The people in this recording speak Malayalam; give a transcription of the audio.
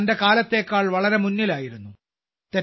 അവർ തന്റെ കാലത്തേക്കാൾ വളരെ മുന്നിലായിരുന്നു